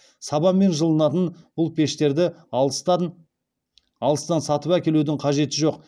сабанмен жылынатын бұл пештерді алыстан сатып әкелудің қажеті жоқ